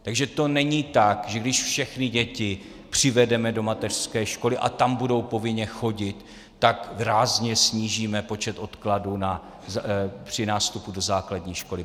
Takže to není tak, že když všechny děti přivedeme do mateřské školy a tam budou povinně chodit, tak rázně snížíme počet odkladů při nástupu do základní školy.